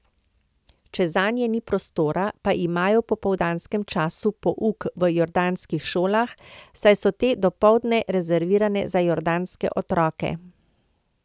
Če zanje ni prostora, pa imajo v popoldanskem času pouk v jordanskih šolah, saj so te dopoldne rezervirane za jordanske otroke.